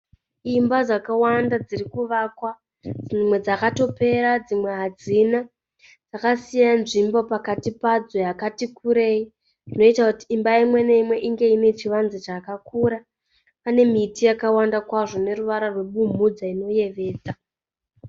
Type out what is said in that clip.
Imba dzakawanda dzirikuvakwa dzimwe dzakatopera dzimwe hadzina. Dzakasiya nzvimbo pakati padzo yakatikurei inoita kuti imba imwe neimwe inge iine chivanze chakakura. Pane miti yakawanda kwazvo ineruvara rwebumhudza inoyevedza.